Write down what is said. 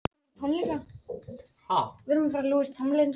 Þetta eru ný tíðindi.